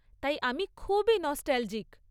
তাই আমি খুবই নস্টালজিক।